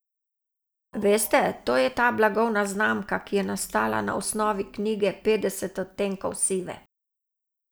Veste, to je ta blagovna znamka, ki je nastala na osnovi knjige Petdeset odtenkov sive.